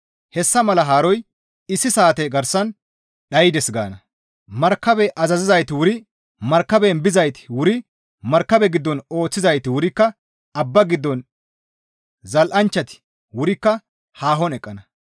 Hessa mala haaroy issi saate garsan dhaydes» gaana. Markabe azazizayti wuri markaben bizayti wuri markabe giddon ooththizayti wurikka abba giddon zal7anchchati wurikka haahon eqqana.